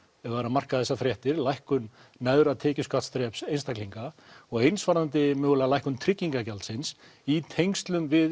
ef það er að marka þessar fréttir lækkun neðra tekjuskattsþreps einstaklinga og eins varðandi mögulega lækkun tryggingagjaldsins í tengslum við